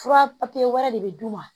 Fura wɛrɛ de bɛ d'u ma